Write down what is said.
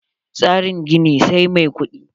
Tsarin gini, sai mai kudi.